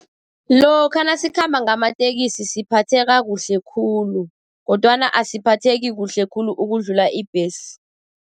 Lokha nasikhamba ngamateksi siphatheka kuhle khulu, kodwana asiphatheki kuhle khulu ukudlula ibhesi.